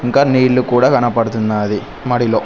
ఇంకా నీళ్లు కూడా కనబడుతున్నాది మడిలో.